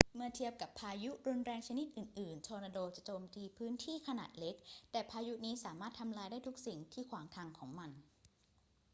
เมื่อเทียบกับพายุรุนแรงชนิดอื่น ๆ ทอร์นาโดจะโจมตีพื้นที่ขนาดเล็ก แต่พายุนี้สามารถทำลายได้ทุกสิ่งที่ขวางทางของมัน